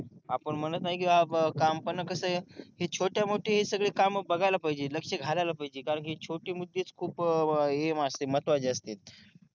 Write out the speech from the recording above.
आपण म्हणत नाही कि काम पण कस आहे छोट्या मोठी हि सगळी काम बघायला पाहिजे लक्ष घालायला पाहिजे कारण छोटी-मोठीच खूप हे असते महत्वाची असते